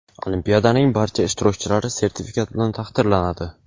Olimpiadaning barcha ishtirokchilari sertifikat bilan taqdirlanadi.